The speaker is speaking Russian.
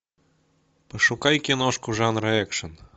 пошукай киношку жанра экшн